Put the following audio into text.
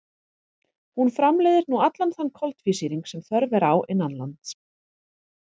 Hún framleiðir nú allan þann koltvísýring sem þörf er á innanlands.